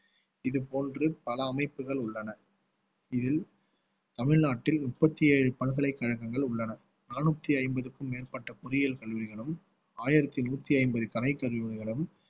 இது போன்று பல அமைப்புகள் உள்ளன இதில் தமிழ்நாட்டில் முப்பத்தி ஏழு பல்கலைக்கழகங்கள் உள்ளன நானூத்தி ஐம்பதுக்கும் மேற்பட்ட பொறியியல் கல்லூரிகளும் ஆயிரத்தி நூத்தி ஐம்பது கலைக்கல்லூரிகளும்